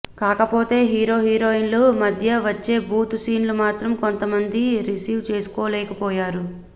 కాకపోతే హీరోహీరోయిన్ల మద్య వచ్చే బూతు సీన్లు మాత్రం కొంత మంది రిసీవ్ చేసుకోలేకపోయారు